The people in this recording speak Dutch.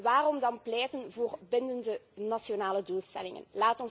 En waarom dan pleiten voor bindende nationale doelstellingen?